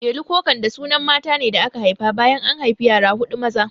Delu ko Kande sunan matane da aka haifa bayan an haifi yara huɗu maza